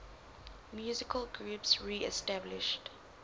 musical groups reestablished